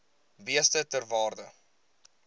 beeste ter waarde